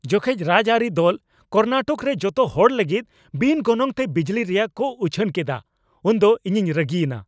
ᱡᱚᱠᱷᱮᱡ ᱨᱟᱡᱽᱟᱹᱨᱤ ᱫᱚᱞ ᱠᱚᱨᱱᱟᱴᱚᱠ ᱨᱮ ᱡᱚᱛᱚ ᱦᱚᱲ ᱞᱟᱹᱜᱤᱫ ᱵᱤᱱ ᱜᱚᱱᱚᱝᱛᱮ ᱵᱤᱡᱽᱞᱤ ᱨᱮᱭᱟᱜ ᱠᱚ ᱩᱪᱷᱟᱹᱱ ᱠᱮᱫᱟ ᱩᱱᱫᱚ ᱤᱧᱤᱧ ᱨᱟᱹᱜᱤ ᱮᱱᱟ ᱾